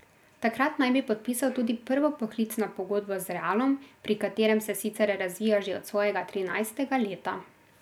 Takrat naj bi podpisal tudi prvo poklicno pogodbo z Realom, pri katerem se sicer razvija že od svojega trinajstega leta.